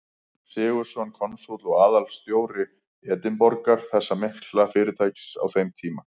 Sigurðsson, konsúll og aðalforstjóri Edinborgar, þess mikla fyrirtækis á þeim tíma.